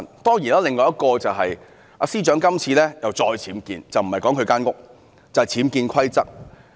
當然，另一點就是司長這次再次僭建，說的不是她的房屋，而是僭建規則。